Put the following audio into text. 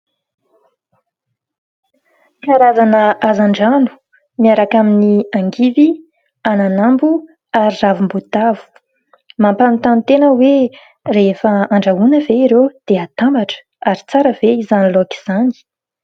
Karazana hazan-drano miaraka amin' ny angivy, ananambo ary ravim-boatavo. Mampanontany tena hoe rehefa andrahoana ve ireo dia atambatra ? Ary tsara ve izany laoka izany ?